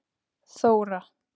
Þóra